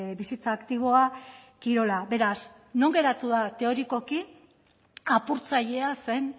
bizitza aktiboa kirola beraz non geratu da teorikoki apurtzailea zen